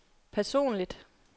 personligt